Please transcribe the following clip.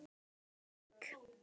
Þín Guðný Eik.